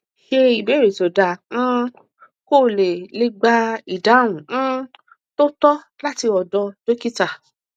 se ibeere to daa um ko le le gba idahun um to to lati odo dokita